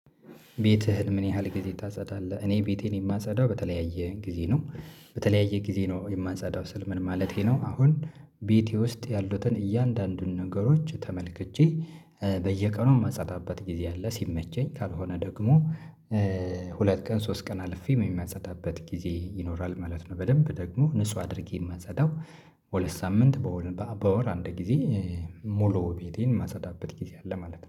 ቤትህን ምን ያህል ጊዜ ታጸዳለህ? እኔ ቤቴን የማጸዳው በተለያየ ጊዜ ነው በተለያየ ጊዜ ነው የማጸዳው ስል ምን ማለቴ ነው? አሁን ቤቴ ውስጥ ያሉትን እያንዳንዱን ነገሮች ተመልክቼ። በየቀኑ ማጸዳበት ጊዜ አለ ሲመቸኝ ካልሆነ ደግሞ። ሁለት ቀን ሶስት ቀን አልፌ የማጸዳበት ጊዜ ይኖራል ማለት ነው። በደንብ ደግሞ ንጹህ አድርጌ ማጸዳው። በሁለት ሳምንት በወር አንድ ጊዜ። ሙሉ ቤቴን ማጸዳበት ጊዜ አለ ማለት ነው